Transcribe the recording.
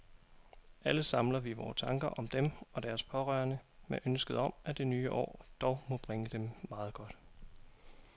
Alle samler vi vore tanker om dem og deres pårørende med ønsket om, at det nye år dog må bringe dem meget godt.